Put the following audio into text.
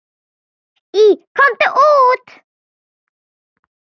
Í Komdu út!